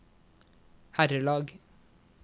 herrelag